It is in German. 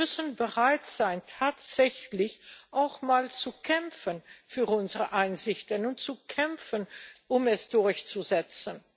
Wir müssen bereit sein, tatsächlich auch mal zu kämpfen für unsere Ansichten und zu kämpfen, um sie durchzusetzen.